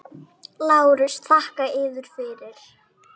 LÁRUS: Þakka yður fyrir.